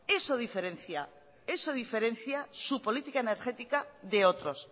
eso diferencia su política energética de otros